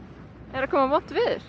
er að koma vont veður